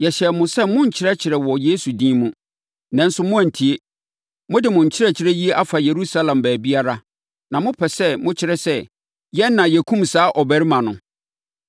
“Yɛhyɛɛ mo sɛ monnkyerɛkyerɛ wɔ Yesu din mu, nanso moantie. Mode mo nkyerɛkyerɛ yi afa Yerusalem baabiara, na mopɛ sɛ mokyerɛ sɛ, yɛn na yɛkumm saa ɔbarima no!”